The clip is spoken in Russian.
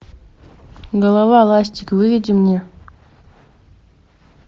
голова ластик выведи мне